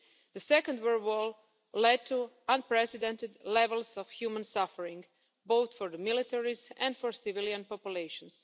The Second World War led to unprecedented levels of human suffering, both for the militaries and for civilian populations.